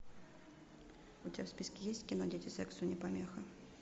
у тебя в списке есть кино дети сексу не помеха